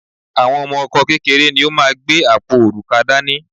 Ọmọ Ọkọ kékeré ni ó máa gbé apó òrùka dání